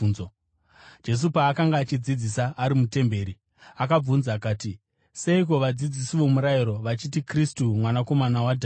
Jesu paakanga achidzidzisa ari mutemberi, akabvunza akati, “Seiko vadzidzisi vomurayiro vachiti Kristu mwanakomana waDhavhidhi?